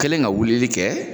Kɛlen ka weleli kɛ